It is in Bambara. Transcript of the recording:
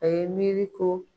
A ye miiri ko.